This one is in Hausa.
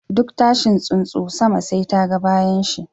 Duk tashin tsunsu, sama sai ta ga bayanshi.